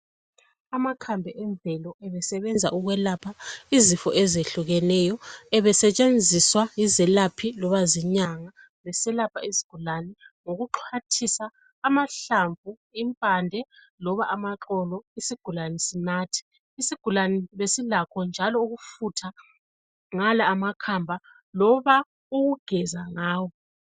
Amakhambi emvelo ebesebenza ukwelapha izifo ezehlukeneyo. Ebesetshenziswa yizelaphi loba zinyanga beselapha izigulane ngokuxhwathisa amahlamvu, impande loba amaxolo isigulane sinathe. Isigulane besilakho njalo ukufutha ngala amakhamba loba ukugeza ngawo.